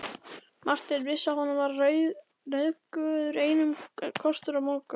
Marteinn vissi að honum var nauðugur einn kostur að moka.